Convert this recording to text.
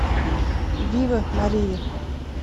вива мария